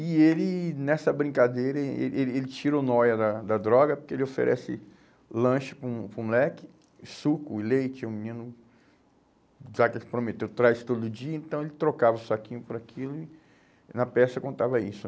E ele, nessa brincadeira, ele ele tirou nóia da da droga, porque ele oferece lanche para o para o moleque, suco, leite, o menino, já que ele prometeu, traz todo dia, então ele trocava o saquinho por aquilo e na peça contava isso.